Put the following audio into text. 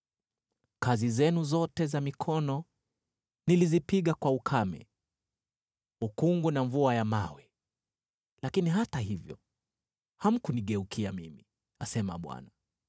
Kazi zenu zote za mikono nilizipiga kwa ukame, ukungu na mvua ya mawe, lakini hata hivyo, hamkunigeukia mimi,’ asema Bwana .